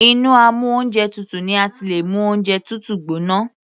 Inú amú oúnjẹ tutù ni a ti lè mú oúnjẹ tútù gbóná.